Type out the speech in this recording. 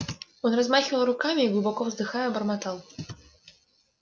он размахивал руками и глубоко вздыхая бормотал